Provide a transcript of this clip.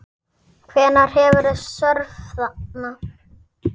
Hvenær hefurðu störf þarna?